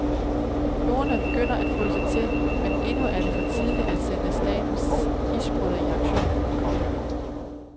Fjordene begynder at fryse til, men endnu er det for tidligt at sende statens isbrydere i aktion.